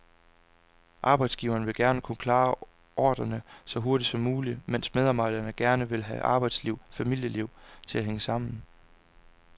Arbejdsgiveren vil gerne kunne klare ordrerne så hurtigt som muligt, mens medarbejderne gerne vil have arbejdsliv og familieliv til at hænge sammen.